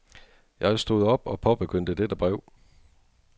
Jeg stod op og påbegyndte dette brev.